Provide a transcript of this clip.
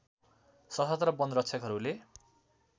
सशस्त्र वन रक्षकहरूले